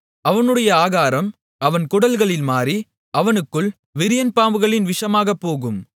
அவனுடைய ஆகாரம் அவன் குடல்களில் மாறி அவனுக்குள் விரியன்பாம்புகளின் விஷமாகப்போகும்